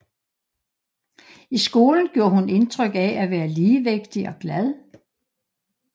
I skolen gjorde hun indtryk af at være ligevægtig og glad